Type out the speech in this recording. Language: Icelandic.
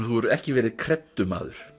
þú hefur ekki verið